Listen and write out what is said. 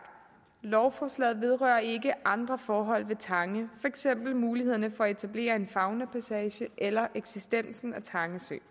lovforslaget vedrører ikke andre forhold ved tange eksempel mulighederne for at etablere en faunapassage eller eksistensen af tange sø